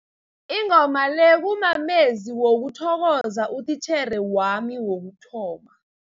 Ingoma le kumamezwi wokuthokoza utitjhere wami wokuthoma.